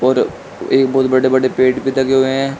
और एक बहोत बड़े बड़े पेड़ भी लगे हुए हैं।